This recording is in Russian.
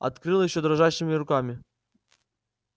открыл его дрожащими руками